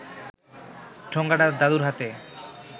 ঠোঙাটা দাদুর হাতে